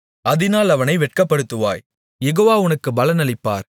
அதினால் அவனை வெட்கப்படுத்துவாய் யெகோவா உனக்குப் பலனளிப்பார்